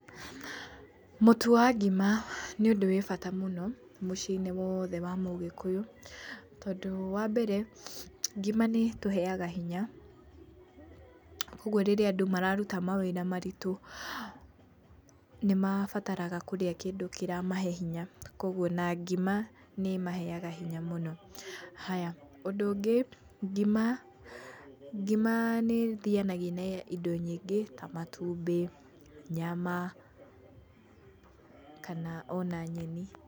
Mũtu wa ngima, nĩundu wĩ bata mũno, mũcĩnĩ wothe wa mũgĩkũyu, tondũ wa mbere, ngima nĩtũheyaga hinya, ũguo rĩria andũ mararuta mawĩra maritu, nĩ mabataraga kũrĩa kindu kĩra mahe hinya, koguo na ngima nĩ maheyaga hinya mũno, [es]haya [es] ngima nĩ thiyanagia na indo nyingĩ, ta matumbi, nyama, kana ona nyeni.